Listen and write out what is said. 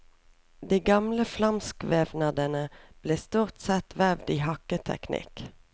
De gamle flamsk vevnadene ble stort sett vevd i hakketeknikk.